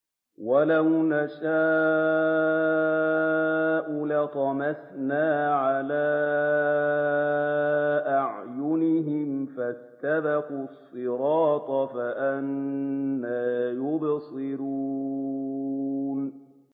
وَلَوْ نَشَاءُ لَطَمَسْنَا عَلَىٰ أَعْيُنِهِمْ فَاسْتَبَقُوا الصِّرَاطَ فَأَنَّىٰ يُبْصِرُونَ